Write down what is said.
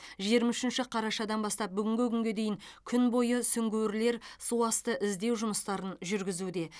жиырма үшінші қарашадан бастап бүгінгі күнге дейін күн бойы сүңгуірлер суасты іздеу жұмыстарын жүргізуде